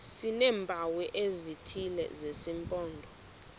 sineempawu ezithile zesimpondo